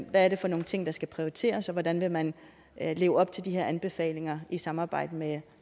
hvad er det for nogle ting der skal prioriteres og hvordan vil man leve op til de her anbefalinger i samarbejde med